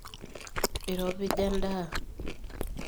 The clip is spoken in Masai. iropija endaa